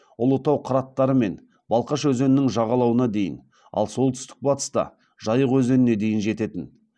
ұлытау қыраттары мен балқаш өзенінің жағалауына дейін ал солтүстік батыста жайық өзеніне дейін жететін